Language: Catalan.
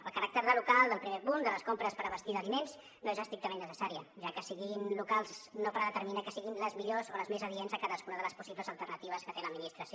el caràcter de local del primer punt de les compres per abastir d’aliments no és estrictament necessari ja que que siguin locals no predetermina que siguin les millors o les més adients a cadascuna de les possibles alternatives que té l’administració